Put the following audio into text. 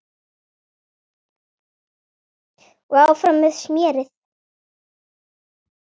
Og áfram með smérið.